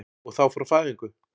Og þá frá fæðingu?